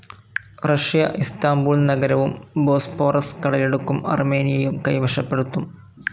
Russia Istanbul നഗരവും Bosporus കടലിടുക്കും അർമേനിയയും കൈവശപ്പെടുത്തും.